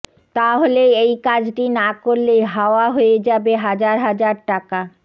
তাহলে এই কাজটি না করলেই হাওয়া হয়ে যাবে হাজার হাজার টাকা